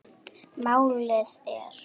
Málið er